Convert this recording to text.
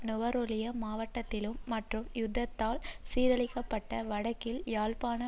நுவரெலியா மாவட்டத்திலும் மற்றும் யுத்தத்தால் சீரழிக்கப்பட்ட வடக்கில் யாழ்ப்பாண